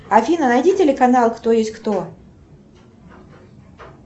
афина найди телеканал кто есть кто